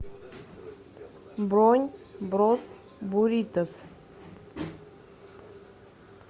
бронь брос буритос